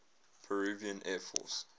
peruvian air force